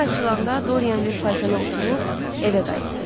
Səhər açılanda Dorian bir faytona oturub evə qayıtdı.